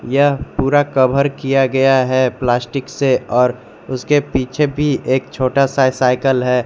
यह पूरा कवर किया गया है प्लास्टिक से और उसके पीछे भी एक छोटा सा साइकिल है।